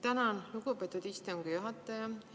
Tänan, lugupeetud istungi juhataja!